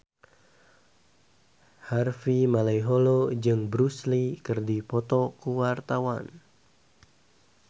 Harvey Malaiholo jeung Bruce Lee keur dipoto ku wartawan